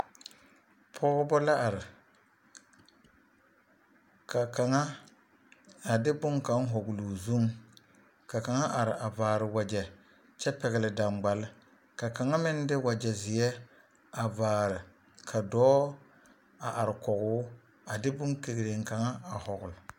Pɔgebɔ la are ka kaŋa a de boŋkaŋa a hɔgele o zuŋ ka kaŋa are a vaare wagyɛ kyɛ pɛgele daŋgbale ka kaŋa meŋ de wagyɛ zeɛ a vaare ka dɔɔ a are kɔgoo a de boŋkegireŋ kaŋa a hɔgele.